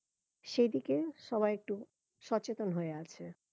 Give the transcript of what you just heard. সেদিকে সবাই একটু সচেতন হয়ে আছে